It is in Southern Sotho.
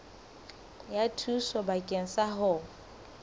ya thuso bakeng sa ho